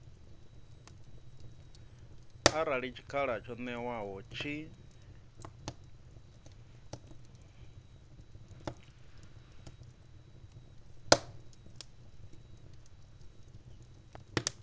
arali tshikhala tsho ṅewaho tshi